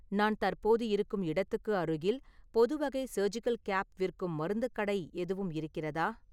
நான் தற்போது இருக்கும் இடத்துக்கு அருகில் பொதுவகை சர்ஜிகல் கேப் விற்கும் மருந்துக் கடை எதுவும் இருக்கிறதா?